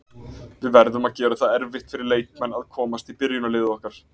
Við verðum að gera það erfitt fyrir leikmenn að komast í byrjunarliðið okkar.